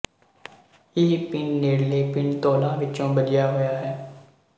ਇਹ ਪਿੰਡ ਨੇੜਲੇ ਪਿੰਡ ਧੌਲਾ ਵਿਚੋਂ ਬੱਝਿਆ ਹੋਇਆ ਹੈ